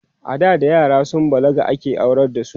ada da yara sun balaga ake aurar da su